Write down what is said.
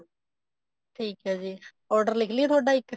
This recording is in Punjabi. ਠੀਕ ਹੈ ਜੀ order ਲਿਖ ਲਈਏ ਤੁਹਾਡਾ ਇੱਕ